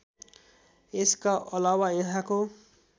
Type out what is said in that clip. यसका अलावा यहाँको